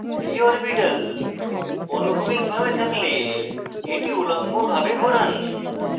p orbital অনুভূমিক ভাবে থাকতে এটি উল্লম্ব ভাবে ঘোরান